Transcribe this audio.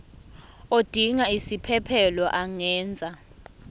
odinga isiphesphelo angenza